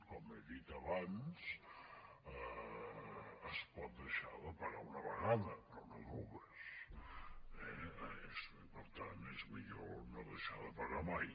com he dit abans es pot deixar de pagar una vegada però no dues eh per tant és millor no deixar de pagar mai